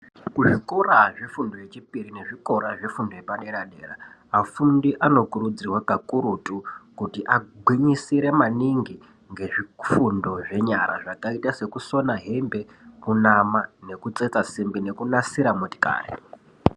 Kuzvikora zvefundo yechipiri nezvikora zvefundo yepadera-dera afundi anokirudzirwa kakurutu kuti agwinyisire maningi ngezvifundo zvenyara zvakaita sekusona hembe, kunama nekutsetsa simbi nekunasira motokari.